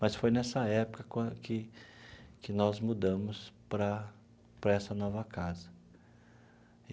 Mas foi nessa época quan que que nós mudamos para para essa nova casa.